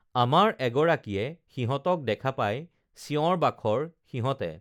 আমাৰ এগৰাকীয়ে সিহঁতক দেখা পাই চিঁঞৰ বাখৰ সিহঁতে